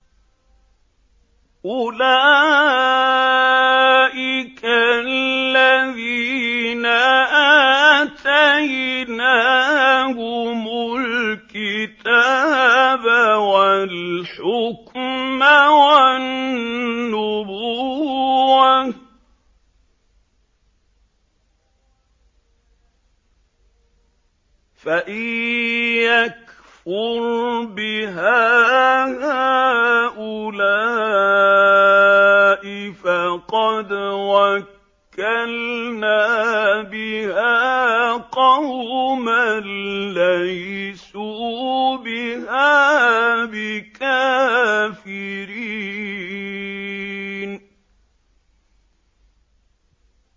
أُولَٰئِكَ الَّذِينَ آتَيْنَاهُمُ الْكِتَابَ وَالْحُكْمَ وَالنُّبُوَّةَ ۚ فَإِن يَكْفُرْ بِهَا هَٰؤُلَاءِ فَقَدْ وَكَّلْنَا بِهَا قَوْمًا لَّيْسُوا بِهَا بِكَافِرِينَ